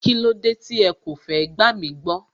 Kílódé tí ẹ kò fẹ́ gbàmí gbọ́